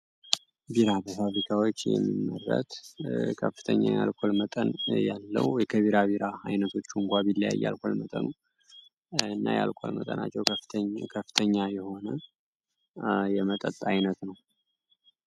ቢራ ከፍተኛ የአልኮል መጠን ያለው አይነቶች እንኳ ቢያየው ከፍተኛ ከፍተኛ የሆነ የመጠጥ አይነት ነው።